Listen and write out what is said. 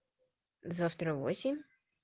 завтра в восемь